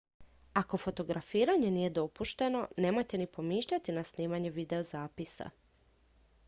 ako fotografiranje nije dopušteno nemojte ni pomišljati na snimanje videozapisa